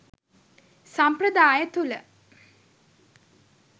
සම්ප්‍රදාය තුළ